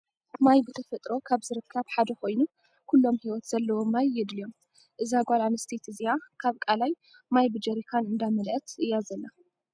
ማይ ብተፈጥሮ ካብ ዝርከብ ሓደ ኮይኑ፤ ኩሎም ሂወት ዘለዎም ማይ የድልዮም ። እዛ ጓል ኣነስተይቲ እዚኣ ካብ ቃላይ ማይ ብጀሪካን እንዳመለኣት እያ ዘላ።